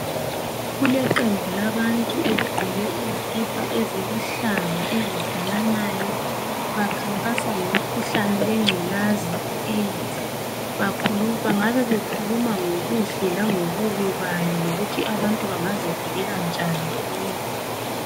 Kuleqembu labantu eligqoke izikipa eziluhlaza ezifananayo bakhankasa ngomkhuhlane wengculaza i-Aids. Bangabe bekhulume ngobuhle langobubi bayo lokuthi abantu bangazivikela njani kuyo.